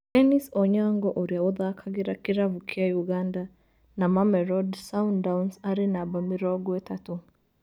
Dennis Onyango ũria ũthakagira kĩravũkĩa Uganda na Mamelodi Sundowns arĩ namba mĩrongo ĩtatũ